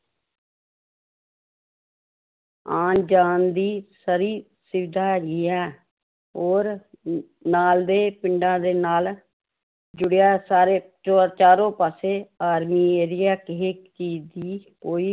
ਆਉਣ ਜਾਣ ਦੀ free ਸੁਵਿਧਾ ਵੀ ਹੈ, ਹੋਰ ਨਾਲ ਦੇ ਪਿੰਡਾਂ ਦੇ ਨਾਲ ਜੁੜਿਆ ਸਾਰੇ ਚੋਰ ਚਾਰੋ ਪਾਸੇ army area ਕਿਸੇ ਚੀਜ਼ ਦੀ ਕੋਈ